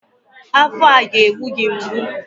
Afọ ọ ga-egbu gị mgbu?